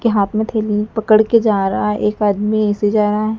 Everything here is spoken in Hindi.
के हाथ में थैली पकड़ के जा रहा है एक आदमी ऐसे जा रहा है।